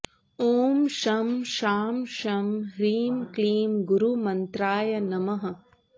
ॐ शं शां षं ह्रीं क्लीं गुरुमन्त्राय नमः